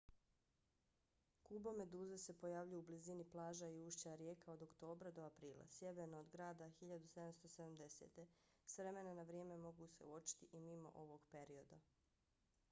kubomeduze se pojavljuju u blizini plaža i ušća rijeka od oktobra do aprila sjeverno od grada 1770. s vremena na vrijeme mogu se uočiti i mimo ovog perioda